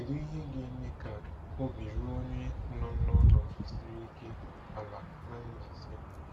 Kedu ihe ga-eme ka obi ruo onye nọ n'ọnọdụ siri ike ala na Mbaise?